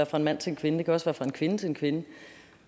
fra en mand til en kvinde det kan også være fra en kvinde til en kvinde